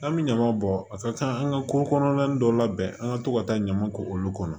An bɛ ɲama bɔ a ka ca an ka ko kɔnɔna an ka to ka taa ɲaman k'olu kɔnɔ